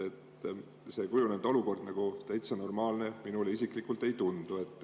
See kujunenud olukord täitsa normaalne minule isiklikult ei tundu.